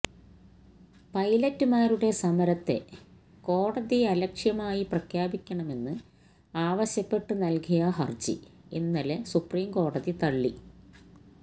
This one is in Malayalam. പൈലറ്റ്മാരുടെ സമരത്തെ കോടതിയലക്ഷ്യമായി പ്രഖ്യാപിക്കണമെന്ന് ആവശ്യപ്പെട്ട് നല്കിയ ഹര്ജി ഇന്നലെ സുപ്രീം കോടതി തള്ളി